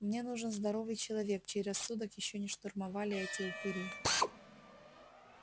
мне нужен здоровый человек чей рассудок ещё не штурмовали эти упыри